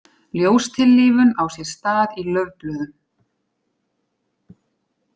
Ljóstillífun á sér stað í laufblöðum.